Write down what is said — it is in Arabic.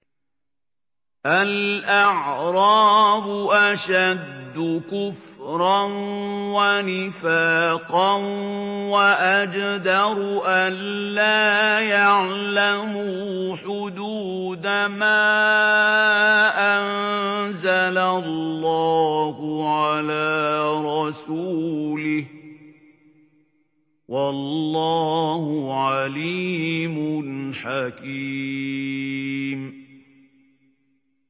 الْأَعْرَابُ أَشَدُّ كُفْرًا وَنِفَاقًا وَأَجْدَرُ أَلَّا يَعْلَمُوا حُدُودَ مَا أَنزَلَ اللَّهُ عَلَىٰ رَسُولِهِ ۗ وَاللَّهُ عَلِيمٌ حَكِيمٌ